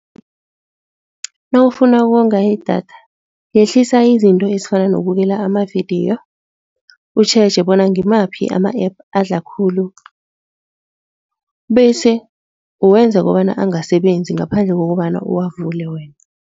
Nawufuna ukonga idatha, yehlisa izinto ezifana nokubukela amavidiyo, utjheje bona ngimaphi ama-App adla khulu bese uwenza kobana angasebenzi ngaphandle kokobana uwavule wena.